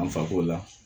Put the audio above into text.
An fako la